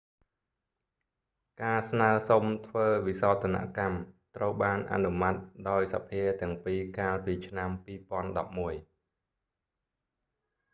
ការស្នើសុំធ្វើវិសោធនកម្ម ត្រូវបានអនុម័តដោយសភាទាំងពីរកាលពីឆ្នាំ2011